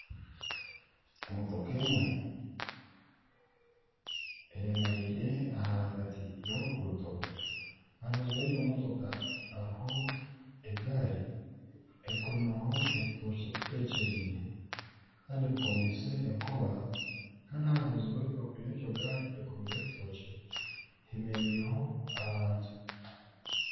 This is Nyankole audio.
Emotoka emwe eyemereire ahagati y'oruguuto aha rubaju rw'egyo motoka ahariho egaari ekomireho ebitookye bitekyeriine kandi bikomiise enkoba kandi aha rubaju rwegyo ngaari heemereireho abantu